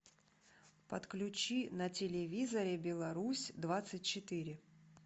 подключи на телевизоре беларусь двадцать четыре